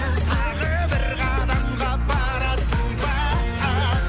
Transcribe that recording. тағы бір қадамға барасың ба